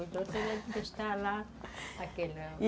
Os outros estavam lá